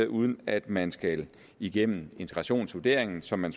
uden at man skal igennem integrationsvurderingen som man